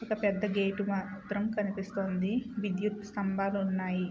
ఒక పెద్ద గేట్ మాత్రం కనిపిస్తుంది. విద్యుత్ స్తంభాలున్నాయి.